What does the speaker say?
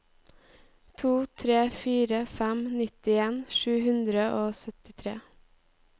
to tre fire fem nittien sju hundre og syttitre